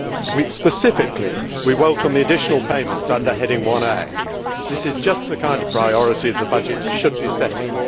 We specifically welcome the additional payments under Heading 1A. This is just the kind of priority that the budget should be setting.